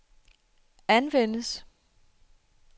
anvendes